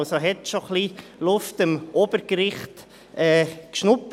Sie hat also schon etwas Luft am Obergericht geschnuppert.